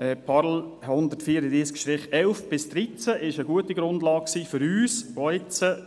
2016.PARL.134-11/-13, waren gute Grundlagen für uns, auch jetzt in